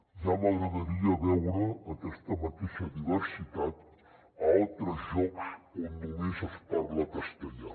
ja m’agradaria veure aquesta mateixa diversitat a altres llocs on només es parla castellà